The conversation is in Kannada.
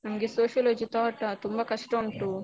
ನಮ್ಗೆ sociology thought ಆ ತುಂಬ ಕಷ್ಟ ಉಂಟು.